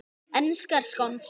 Enskar skonsur